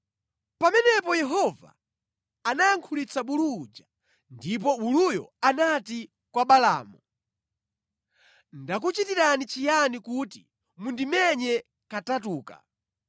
Pamenepo Yehova anayankhulitsa bulu uja, ndipo buluyo anati kwa Balaamu, “Ndakuchitirani chiyani kuti mundimenye katatuka?”